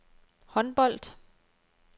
håndbold